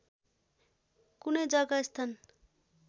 कुनै जग्गा स्थान